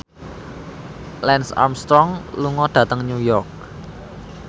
Lance Armstrong lunga dhateng New York